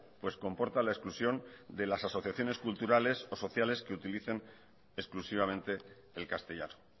pues comporta la exclusión de las asociaciones culturales o sociales que utilicen exclusivamente el castellano